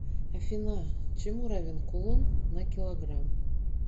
афина чему равен кулон на килограмм